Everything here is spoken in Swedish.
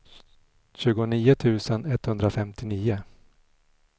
tjugonio tusen etthundrafemtionio